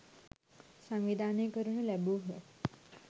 සංවිධානය කරනු ලැබූහ.